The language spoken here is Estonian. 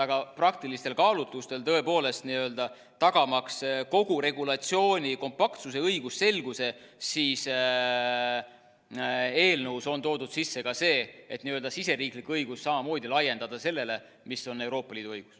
Aga praktilistel kaalutlustel, tõepoolest, tagamaks kogu regulatsiooni kompaktsuse ja õigusselguse, siis eelnõusse on toodud sisse ka see, et siseriiklik õigus samamoodi laiendada sellele, mis on Euroopa Liidu õigus.